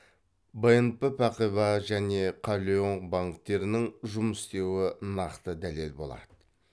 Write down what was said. бнп пәғиба және кәлиоң банктерінің жұмыс істеуі нақты дәлел болады